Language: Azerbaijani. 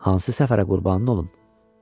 Hansı səfərə qurbanın olum?